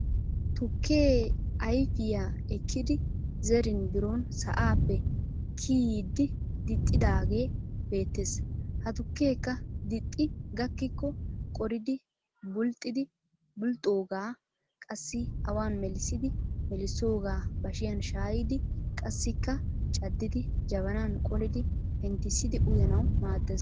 Tukkee ayfiya ekkidi zerin biron sa'aappe kiyidi dixxidaagee beettes. Ha tukkeekka dixxi gakkikko qoridi, bulxxidi bulxxoogaa qassi awan melissidi melissoogaa bashiyan shayidi qassikka caddidi jabanan qolidi penttisiidi uyanawu maaddes.